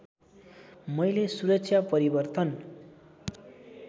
मैले सुरक्षा परिवर्तन